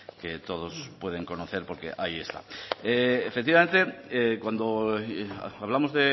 que todos pueden conocer porque ahí está efectivamente cuando hablamos